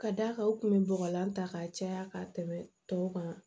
Ka d'a kan u kun bɛ bɔgɔlan ta ka caya ka tɛmɛ tɔw kan